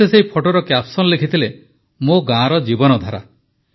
ସେ ସେହି ଫଟୋର କ୍ୟାପସନ ଲେଖିଥିଲେ ମୋ ଗାଁର ଜୀବନଧାରା